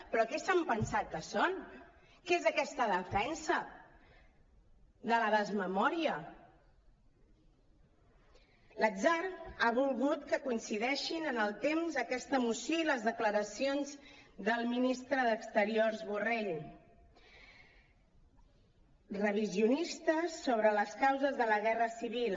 però què s’han pensat que són què és aquesta defensa de la desmemòria l’atzar ha volgut que coincideixin en el temps aquesta moció i les declaracions del ministre d’exteriors borrell revisionistes sobre les causes de la guerra civil